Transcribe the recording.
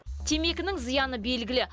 темекінің зияны белгілі